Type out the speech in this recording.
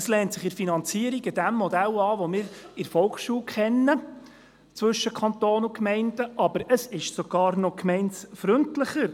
Es lehnt sich in der Finanzierung an das Modell an, das wir in der Volksschule zwischen Kanton und Gemeinden kennen, aber es ist sogar noch gemeindefreundlicher.